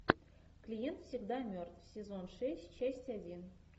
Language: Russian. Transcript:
клиент всегда мертв сезон шесть часть один